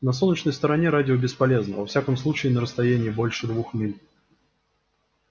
на солнечной стороне радио бесполезно во всяком случае на расстоянии больше двух миль